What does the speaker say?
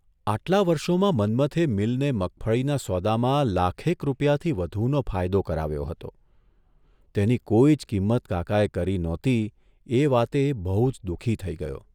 આટલા વર્ષોમાં મન્મથે મીલને મગફળીના સોદામાં લાખેક રૂપિયાથી વધુનો ફાયદો કરાવ્યો હતો તેની કોઇ જ કિંમત કાકાએ કરી નહોતી એ વાતે એ બહુજ દુઃખી થઇ ગયો.